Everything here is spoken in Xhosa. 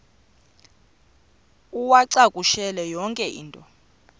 uwacakushele yonke into